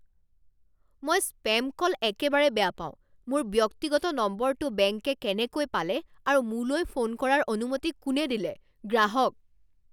মই spam call একেবাৰে বেয়া পাওঁ। মোৰ ব্যক্তিগত নম্বৰটো বেংকে কেনেকৈ পালে আৰু মোলৈ ফোন কৰাৰ অনুমতি কোনে দিলে? গ্ৰাহক